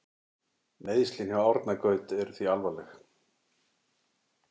Meiðslin hjá Árna Gaut eru þau alvarleg?